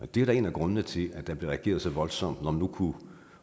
det er da en af grundene til at der bliver reageret så voldsomt når man nu